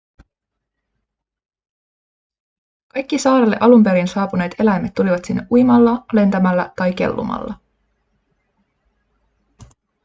kaikki saarelle alun perin saapuneet eläimet tulivat sinne uimalla lentämällä tai kellumalla